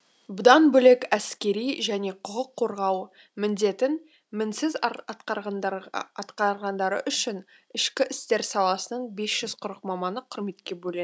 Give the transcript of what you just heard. бұдан бөлек әскери және құқық қорғау міндетін мінсіз атқарғандары үшін ішкі істер саласының бес жүз қырық маманы құрметке бөленді